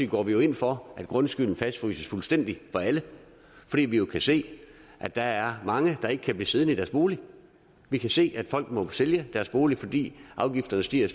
går vi ind for at grundskylden fastfryses fuldstændig for alle fordi vi jo kan se at der er mange der ikke kan blive siddende i deres bolig vi kan se at folk må sælge deres bolig fordi afgifterne stiger